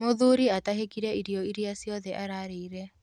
Mũthuri atahĩkire irio iria ciothe arĩire.